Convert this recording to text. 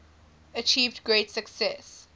achieved great success